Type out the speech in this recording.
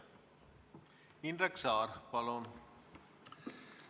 Indrek Saar, palun!